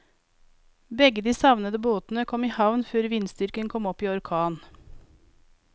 Begge de savnede båtene kom i havn før vindstyrken kom opp i orkan.